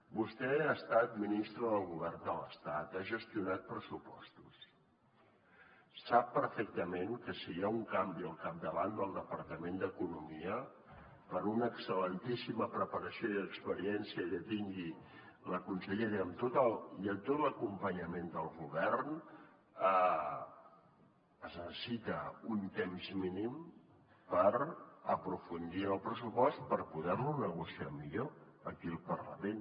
vostè ha estat ministre del govern de l’estat ha gestionat pressupostos sap perfectament que si hi ha un canvi al capdavant del departament d’economia per una excel·lentíssima preparació i experiència que tingui la consellera i amb tot l’acompanyament del govern es necessita un temps mínim per aprofundir en el pressupost per poder lo negociar millor aquí al parlament